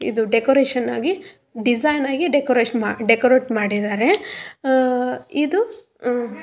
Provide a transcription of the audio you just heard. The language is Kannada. ಇದು ಡೆಕೋರೇಷನ್ ಆಗಿ ಡಿಸೈನ್ ಆಗಿ ಡೆಕೋರೇಷನ್ ಡೆಕೋರೇಟ್ ಮಾಡಿದ್ದಾರೆ ಹ್ಮ್ ಇದು ಹ್ಮ್.